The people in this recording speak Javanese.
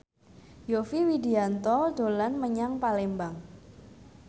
Yovie Widianto dolan menyang Palembang